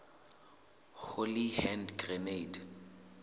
holy hand grenade